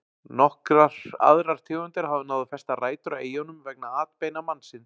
Nokkrar aðrar tegundir hafa náð að festa rætur á eyjunum vegna atbeina mannsins.